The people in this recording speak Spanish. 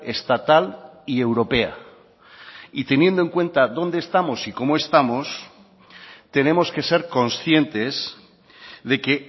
estatal y europea y teniendo en cuenta dónde estamos y cómo estamos tenemos que ser conscientes de que